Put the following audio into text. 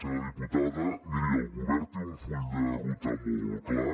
senyora diputada miri el govern té un full de ruta molt clar